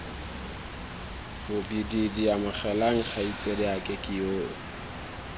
bobididi amogelang kgaitsadiake ke yoo